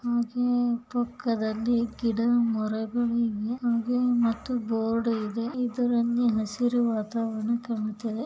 ಹಾಗೆ ತುಕ್ಕದಲ್ಲಿ ಗಿಡ ಮರಗಳಿವೆ ಹಾಗೆ ಮತ್ತು ಬೋರ್ಡ್ ಇದೆ ಇದರನ್ನಿ ಹಸಿರುವಾದ ಕಾಣುತ್ತದೆ.